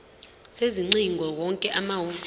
sezingcingo wonke amahhovisi